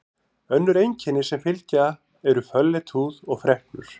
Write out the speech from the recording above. Önnur einkenni sem fylgja eru fölleit húð og freknur.